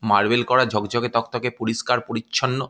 Marble করা ঝক ঝকে তকতকে পরিষ্কার পরিচ্ছন্ন।